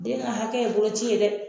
Den ka hakɛ ye bolo ci ye dɛ!